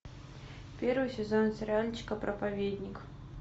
первый сезон сериальчика проповедник